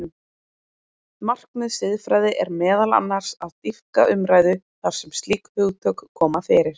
Markmið siðfræði er meðal annars að dýpka umræðu þar sem slík hugtök koma fyrir.